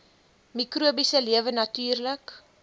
mikrobiese lewe natuurlik